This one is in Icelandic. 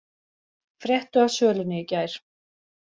Fréttu af sölunni í gær